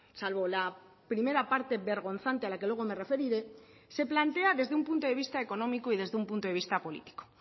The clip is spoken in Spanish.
salvo la primera parte vergonzante a la que luego me referiré se plantea desde un punto de vista económico y desde un punto de vista político